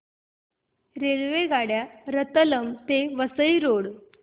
रेल्वेगाड्या रतलाम ते वसई रोड